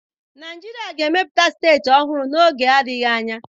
Naijiria ga-emepụta steeti ọhụrụ n'oge adịghị anya.